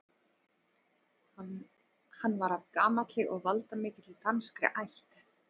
Hann var af gamalli og valdamikilli danskri ætt.